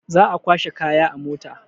Za a kwashe kaya a mota.